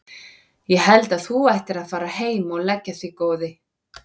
Ég held að þú ættir að fara heim og leggja þig góði!